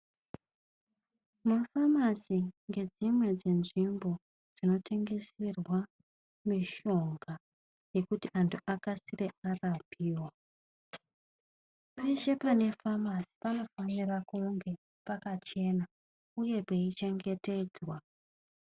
Mafamasi ndedzimwe dzetsvimbo dzinotengeserwa mishonga yekuti vantu vakasire varapiwa . Peshe pane famasi ,panofanirwa kunge pakachena uye peichengetedzwa .